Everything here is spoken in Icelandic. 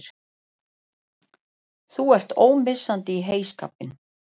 Þú ert ómissandi í heyskapinn!!